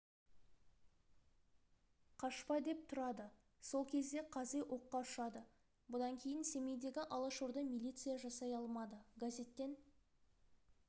қашпа деп тұрады сол кезде қази оққа ұшады бұдан кейін семейдегі алашорда милиция жасай алмады газеттен